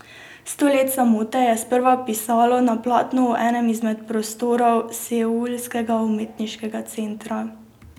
Sto let samote je sprva pisalo na platnu v enem izmed prostorov seulskega umetniškega centra.